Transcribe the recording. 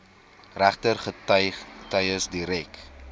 regter getuies direk